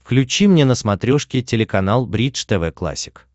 включи мне на смотрешке телеканал бридж тв классик